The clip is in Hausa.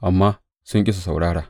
amma sun ƙi su saurara.